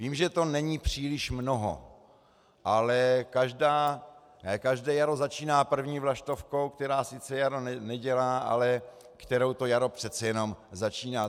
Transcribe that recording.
Vím, že to není příliš mnoho, ale každé jaro začíná první vlaštovkou, která sice jaro nedělá, ale kterou to jaro přece jenom začíná.